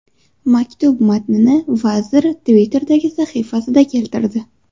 Maktub matnini vazir Twitter’dagi sahifasida keltirdi.